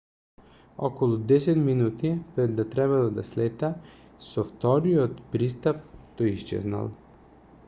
околу десет минути пред да требало да слета со вториот пристап тој исчезнал